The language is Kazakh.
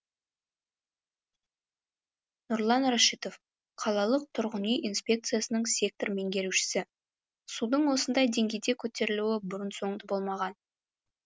нұрлан рашитов қалалық тұрғын үй инспекциясының сектор меңгерушісі судың осындай деңгейде көтерілуі бұрын соңды болмаған